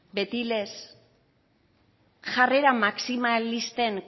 beti lez jarrera maximalisten